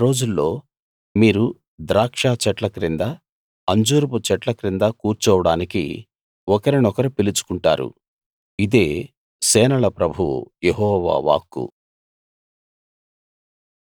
ఆ రోజుల్లో మీరు ద్రాక్షచెట్ల క్రింద అంజూరపు చెట్ల క్రింద కూర్చోవడానికి ఒకరినొకరు పిలుచుకుంటారు ఇదే సేనల ప్రభువు యెహోవా వాక్కు